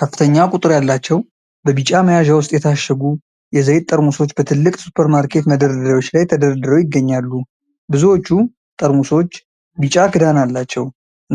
ከፍተኛ ቁጥር ያላቸው በቢጫ መያዣ ውስጥ የታሸጉ የዘይት ጠርሙሶች በትልቅ ሱፐርማርኬት መደርደሪያዎች ላይ ተደርድረው ይገኛሉ። ብዙዎቹ ጠርሙሶች ቢጫ ክዳን አላቸው።